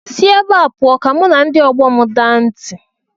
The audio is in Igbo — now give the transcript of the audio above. Si ebe a pụọ ka mụ na ndị ọgbọ m daa ntị!